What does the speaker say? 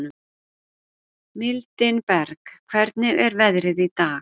Mildinberg, hvernig er veðrið í dag?